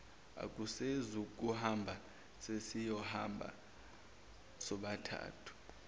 akasezukuhamba sesiyohamba sobathathu